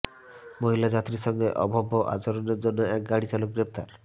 মহিলা যাত্রীর সঙ্গে অভব্য আচরণের জন্য এক গাড়ি চালক গ্রেফতার